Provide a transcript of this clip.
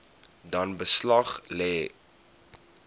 dan beslag lê